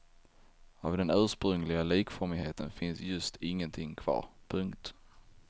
Av den ursprungliga likformigheten finns just ingenting kvar. punkt